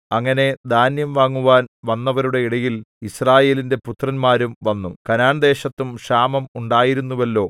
അങ്ങനെ ധാന്യം വാങ്ങുവാൻ വന്നവരുടെ ഇടയിൽ യിസ്രായേലിന്റെ പുത്രന്മാരും വന്നു കനാൻദേശത്തും ക്ഷാമം ഉണ്ടായിരുന്നുവല്ലോ